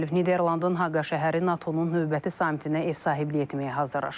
Niderlandın Haqa şəhəri NATO-nun növbəti samitinə ev sahibliyi etməyə hazırlaşır.